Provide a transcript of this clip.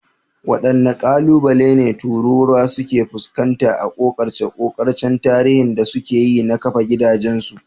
Waɗanne ƙalubale ne tururuwa suka fuskanta a ƙoƙarce-ƙoƙarcen tarihi da suka yi na kafa gidajensu?